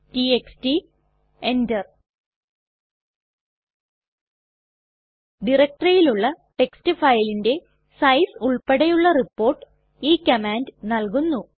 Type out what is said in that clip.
TXT enter ഡയറക്ടറിയിലുള്ള text ഫയലിന്റെ size ഉൾപ്പടെയുള്ള റിപ്പോർട്ട് ഈ കമാൻഡ് നല്കുന്നു